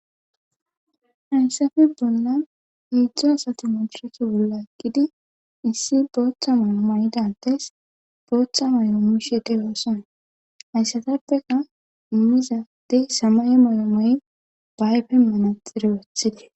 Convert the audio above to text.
Hayssafe bolla heedzdzu asati madireeke bolla eqqidi issi bootha mayo mayida addes bootha mayo immishe doosona hayssatappeka immizayssi samaye mayo mayi ba ayfen manaxxire wothides.